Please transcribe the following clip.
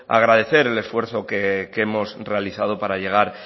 agradecer el esfuerzo que hemos realizado para llegar